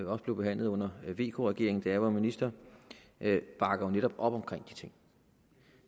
også blev behandlet under vk regeringen da jeg var minister bakker jo netop op omkring de ting